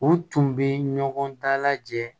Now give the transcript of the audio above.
U tun bɛ ɲɔgɔn dalajɛ